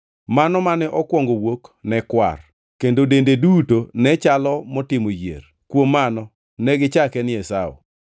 Mano mane okwongo wuok ne kwar, kendo dende duto ne chalo motimo yier; kuom mano negichake ni Esau.